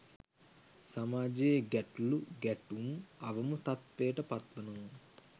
සමාජයෙ ගැටලු ගැටුම්, අවම තත්ත්වයට පත්වනවා.